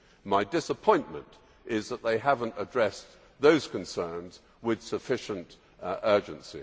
My disappointment is that they have not addressed those concerns with sufficient urgency.